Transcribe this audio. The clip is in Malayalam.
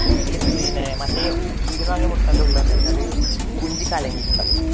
പിന്നെ പീടികേന്ന് വാങ്ങിയ മറ്റേ മുട്ടയുടെ ഉള്ളില് എന്താന്ന് വെച്ചാല് കുഞ്ചി കലങ്ങിയിട്ടുണ്ടാകും.